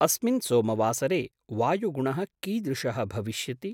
अस्मिन् सोमवासरे वायुगुणः कीदृशः भविष्यति?